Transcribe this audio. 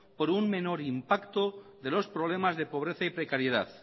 por un menor impacto de los problemas de pobreza y precariedad